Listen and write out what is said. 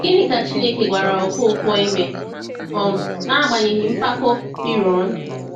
Gịnị ka Chineke gwara Ọkọnkwo ime um n’agbanyeghị mpako Firaun?